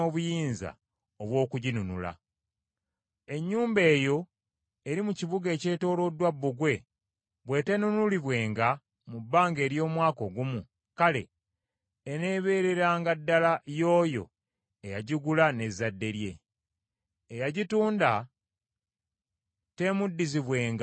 Ennyumba eyo eri mu kibuga ekyetooloddwa bbugwe bw’eteenunulibwenga mu bbanga ery’omwaka ogumu, kale eneebeereranga ddala y’oyo eyagigula n’ezzadde lye. Eyagitunda teemuddizibwenga mu Jjubiri.